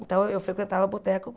Então, eu frequentava boteco